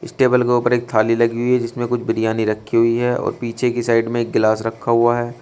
इस टेबल के ऊपर एक थाली लगी हुई है जिसमें कुछ बिरयानी रखी हुई है और पीछे की साइड में एक गिलास रखा हुआ है।